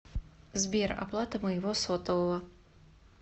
сбер оплата моего сотового